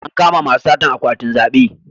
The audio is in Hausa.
An kama masu satan akwatin zabe